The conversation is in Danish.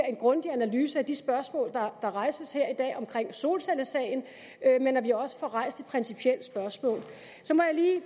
en grundig analyse at de spørgsmål der rejses her i dag om solcellesagen men at vi også får rejst de principielle spørgsmål så må jeg lige